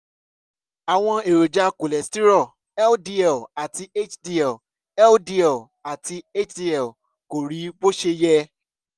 àwọn èròjà cholesterol ldl àti hdl ldl àti hdl kò rí bó ṣe yẹ